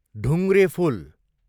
ढुङ्ग्रेफुल